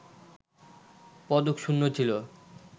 পদক শূণ্য ছিল